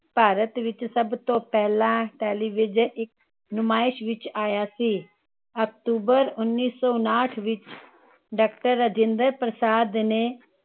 ਭਾਰਤ ਵਿਚ ਸਬਤੋਂ ਪਹਿਲਾਂ television ਇਕ ਨੁਮਾਇਸ਼ ਵਿਚ ਆਇਆ ਸੀ। ਅਕਤੂਬਰ ਉੰਨੀ ਸੋ ਉਨਾਹਠ ਵਿਚ ਡਾਕਟਰ ਰਾਜਿੰਦਰ ਪ੍ਰਸਾਦ ਨੇ